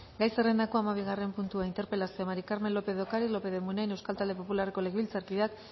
gai zerrendako hamabigarren puntua interpelazioa maría del carmen lópez de ocariz lópez de munain euskal talde popularreko legebiltzarkideak